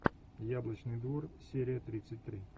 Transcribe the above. яблочный двор серия тридцать три